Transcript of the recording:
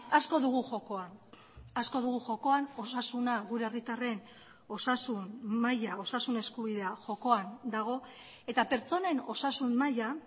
asko dugu jokoan asko dugu jokoan osasuna gure herritarren osasun maila osasun eskubidea jokoan dago eta pertsonen osasun maila